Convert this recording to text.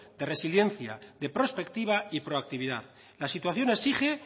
de resiliencia de prospectiva y proactividad la situación exige